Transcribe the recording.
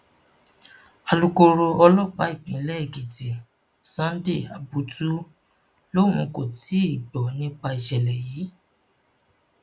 alukóró ọlọpàá ìpínlẹ èkìtì sunday abutu lòun kò tí ì gbọ nípa ìṣẹlẹ yìí